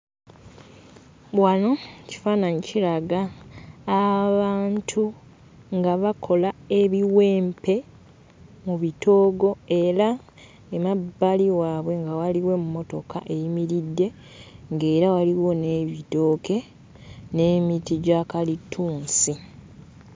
Wano ekifaananyi kiraga abantu nga bakola ebiwempe mu bitoogo era emabbali waabwe nga waliwo emmotoka eyimiridde, ng'era waliwo n'ebitooke n'emiti gya kalitunsi.